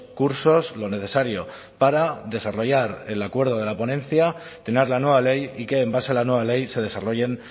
cursos lo necesario para desarrollar el acuerdo de la ponencia tener la nueva ley y que en base a la nueva ley se desarrollen